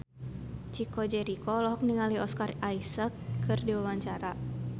Chico Jericho olohok ningali Oscar Isaac keur diwawancara